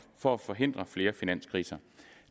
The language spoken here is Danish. for at forhindre flere finanskriser